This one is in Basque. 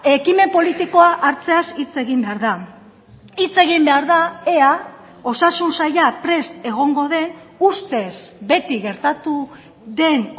ekimen politikoa hartzeaz hitz egin behar da hitz egin behar da ea osasun saila prest egongo den ustez beti gertatu den